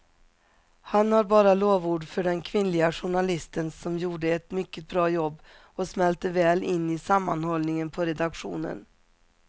Han har bara lovord för den kvinnliga journalisten som gjorde ett mycket bra jobb och smälte väl in i sammanhållningen på redaktionen.